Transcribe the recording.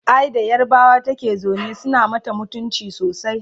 ai da yarbawa take zaune suna mata mutumci sosai